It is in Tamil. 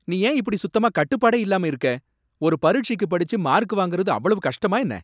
நீ ஏன் இப்படி சுத்தமா கட்டுப்பாடே இல்லாம இருக்க? ஒரு பரிட்சைக்கு படிச்சு மார்க் வாங்கறது அவ்வளவு கஷ்டமா, என்ன?